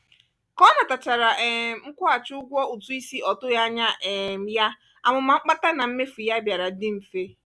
ka ọ natachara um nkwughachi ụgwọ ụtụisi ọ tụghị anya um ya amụma mkpata na mmefu ya bịara dị mfe.